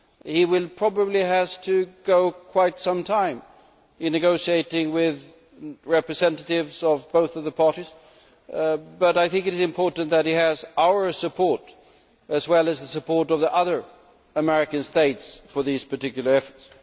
He will probably have to spend quite some time in negotiating with representatives of both the parties but I think it is important that he has our support as well as the support of the other American states for these particular efforts.